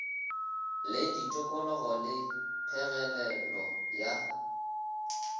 le ditokologo le phegelelo ya